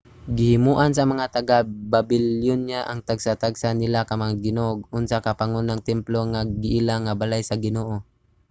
gihimoan sa mga taga-babilonya ang tagsa-tagsa nila ka mga ginoo og usa ka pangunang templo nga giila nga balay sa ginoo